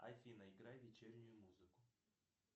афина играй вечернюю музыку